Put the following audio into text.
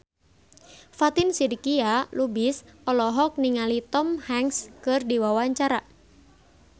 Fatin Shidqia Lubis olohok ningali Tom Hanks keur diwawancara